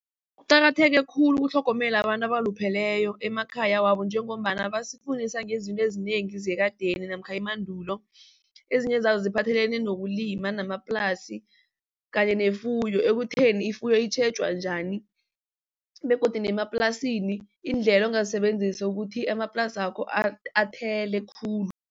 Kuqakatheke khulu ukutlhogomela abantu abalupheleyo emakhaya wabo njengombana basifundisa ngezinto ezinengi zekadeni namkha emandulo. Ezinye zazo siphathelene nokulima namaplasi kanye nefuyo ekutheni ifuyo itjhejwa njani begodu nemaplasini iindlela ongazisebenzisa ukuthi amaplasakho athele khulu.